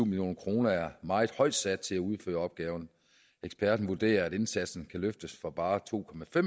million kroner er meget højt sat til at udføre opgaven eksperten vurderer at indsatsen kan løftes for bare to